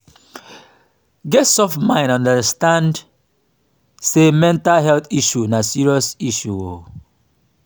get soft mind and understand sey mental health issues na serious issue um